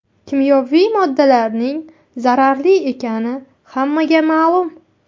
Kimyoviy moddalarning zararli ekani hammaga ma’lum.